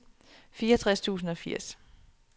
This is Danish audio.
fireogtres tusind og firs